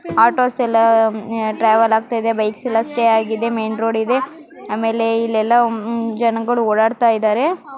ಆಟೋಸೆಲ್ಲಾ travel ಆಗ್ತಾ ಇದೆ bikes ಎಲ್ಲಾ ಸ್ಟೇ ಆಗಿದೆ ಮೈನ್ ರೋಡ್ ಇದೆ ಅಮಲೇ ಇಲ್ಲೆಲ್ಲಾ ಜನರು ಓಡಾಡ್ತಾ ಇದ್ದಾರೆ.